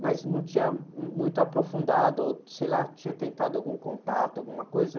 mas não tinha muito aprofundado, ou, sei lá, tinha tentado algum contato, alguma coisa.